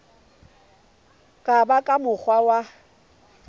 ka ba ka mokgwa wa